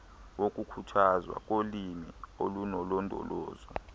wokukhuthazwa kolimo olunolondolozo